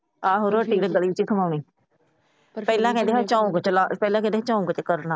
ਆਹੋ ਰੋਟੀ ਤਾਂ ਗਲੀ ਚ ਖੁਆਨੀ। ਪਰ ਪਹਿਲਾ ਕਹਿੰਦੇ ਸੀ ਝੰਗ ਚ ਝੰਗ ਚ ਕਰਨਾ।